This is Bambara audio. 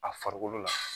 A farikolo la